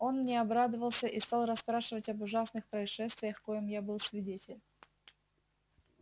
он мне обрадовался и стал расспрашивать об ужасных происшествиях коим я был свидетель